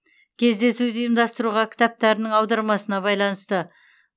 кездесуді ұйымдастыруға кітаптарыңның аудармасына байланысты